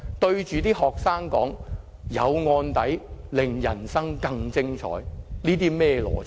對學生說，有案底令人生更精彩，這又是甚麼邏輯？